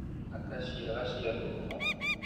Aka ciaga cia ngũkũ